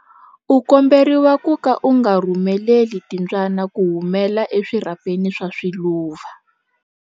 U komberiwa ku ka u nga pfumeleli timbyana ku humela eswirhapeni swa swiluva.